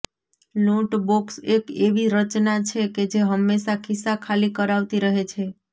લૂંટ બોક્સ એક એવી રચના છે કે જે હંમેશાં ખિસ્સા ખાલી કરાવતી રહે છે